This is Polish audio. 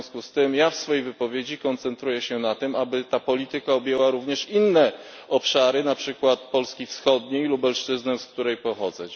W związku z tym ja w swojej wypowiedzi koncentruję się na tym, aby ta polityka objęła również inne obszary, na przykład Polski Wschodniej, Lubelszczyzny, z której pochodzę.